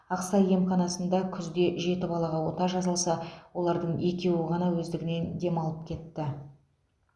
ақсай емханасында күзде жеті балаға ота жасалса олардың екеуі ғана өздігінен демалып кетті